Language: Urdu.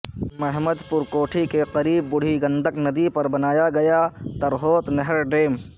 مہمد پور کوٹھی کے قریب بودھی گندک ندی پر بنایا گیا ترہوت نہر ڈیم